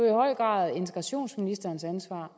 i høj grad integrationsministerens ansvar